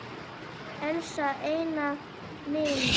Elsku Einar minn.